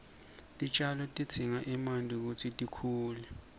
titjalo tidzinga emanti kutsi tikhule